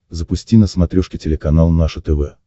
запусти на смотрешке телеканал наше тв